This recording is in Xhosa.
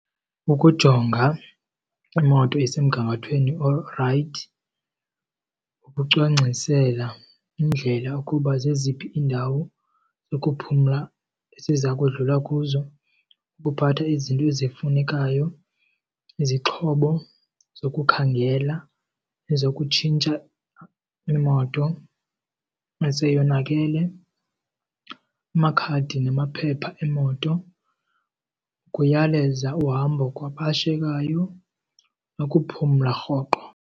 Ukujonga imoto esemgangathweni olurayithi kucwangcisela iindlela yokuba zeziphi iindawo zokuphumla esiza kudlule kuzo, uphathe izinto ezifunekayo, izixhobo zokukhangela nezokutshintsha imoto seyonakele, amakhadi namaphepha emoto. Kuyaleza uhambo kwabashiyekayo nokuphumla rhoqo.